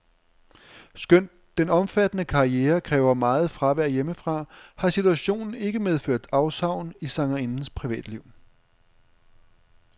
Skønt den omfattende karriere kræver meget fravær hjemmefra, har situationen ikke medført afsavn i sangerindens privatliv.